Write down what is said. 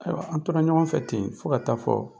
Ayiwa an tora ɲɔgɔn fɛ ten fo ka taa fɔ